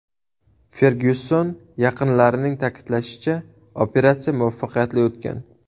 Fergyuson yaqinlarining ta’kidlashicha, operatsiya muvaffaqiyatli o‘tgan.